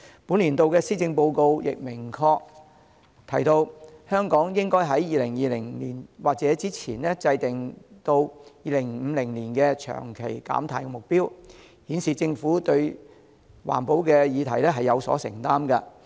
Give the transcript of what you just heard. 本年度施政報告亦明確提到，香港應該在2020年或之前制訂至2050年的長期減碳目標，顯示政府對環保議題有所承擔。